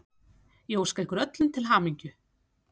Ég óska ykkur öllum til hamingju.